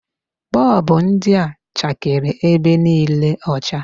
Bulb ndị a chakere ebe niile ọcha.